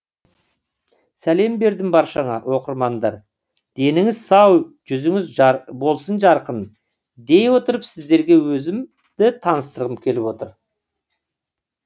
сәлем бердім баршаңа оқырмандар деніңіз сау жүзіңіз болсын жарқын дей отырып сіздерге өзімді таныстырғым келіп отыр